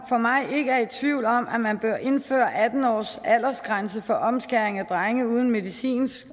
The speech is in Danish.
for mig ikke er tvivl om at man bør indføre en atten årsaldersgrænse for omskæring af drenge uden medicinsk